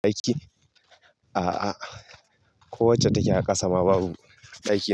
Aiki? A'a, kowacce take a kasa ma babu ɗaki.